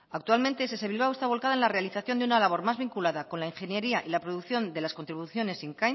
actualmente ess bilbao está volcada en la realización de una labor más vinculada con la ingeniería y la producción de las contribuciones